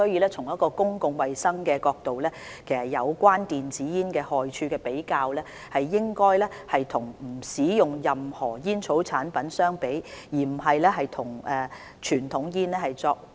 從公共衞生的角度而言，有關電子煙害處的比較，應該與不使用任何煙草產品相比，而不是與傳統香煙相比。